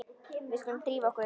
Við skulum drífa okkur.